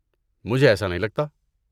مجھے ایسا نہیں لگتا۔